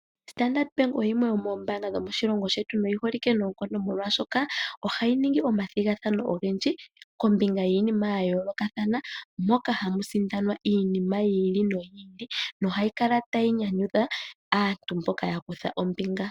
Standard bank oyo yimwe yomoombanga dho moshilongo shetu noyi holike noonkondo molwaashoka ohayi ningi omathigathano ogendji kombinga yiinima ya yoolokathana moka hamu sindanwa iinima yi ili noyi ili, nohayi kala tayi nyanyudha aantu mboka ya kutha ombinga.